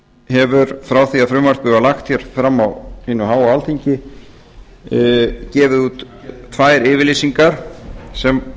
hefur frá því að frumvarpið var lagt hér fram á hinu háa alþingi gefið út tvær yfirlýsingar sem